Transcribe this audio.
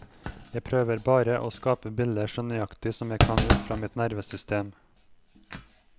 Jeg prøver bare å skape bilder så nøyaktig som jeg kan ut fra mitt nervesystem.